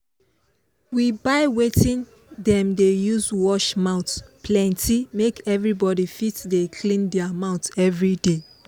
we buy wetin dem dey use wash mouth plenty make everybody fit dey clean their mouth everyday.